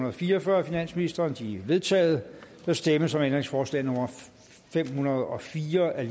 og fire og fyrre af finansministeren de er vedtaget der stemmes om ændringsforslag nummer fem hundrede og fire af